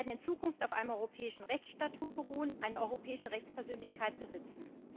Sie werden in Zukunft auf einem europäischen Rechtsstatut beruhen und eine europäische Rechtspersönlichkeit besitzen.